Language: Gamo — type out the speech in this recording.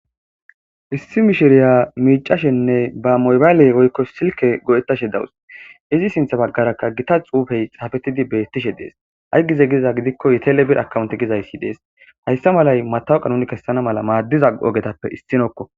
issi mishiriya miicashenne ba moybaaley oykko silke go7ettashe dawus izi sintha baggarakka gita xuufey safetidi bettishe dees hay gize giza gidikko yitel bir akawonti gizayssi dees hayssa malay matawuqanoni kessana mala maaddiza ogetappe issinokko